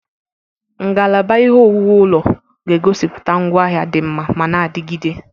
Ngalaba ihe owuwu ụlọ ga-egosiputia ngwaahịa di nma mana adigide.